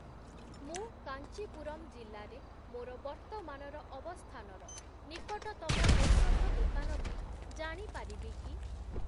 ମୁଁ କାଞ୍ଚିପୁରମ୍ ଜିଲ୍ଲାରେ ମୋର ବର୍ତ୍ତମାନର ଅବସ୍ଥାନର ନିକଟତମ ଔଷଧ ଦୋକାନଟି ଜାଣିପାରିବି କି?